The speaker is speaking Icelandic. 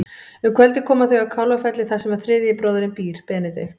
Um kvöldið koma þau að Kálfafelli þar sem þriðji bróðirinn býr, Benedikt.